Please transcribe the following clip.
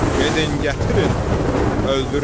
Gedin gətirin, öldürüm.